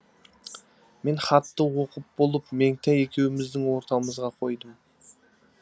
мен хатты оқып болып меңтай екеуіміздің ортамызға қойдым